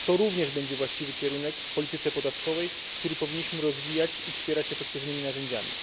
To również będzie właściwy kierunek w polityce podatkowej, który powinniśmy rozwijać i wspierać efektywnymi narzędziami.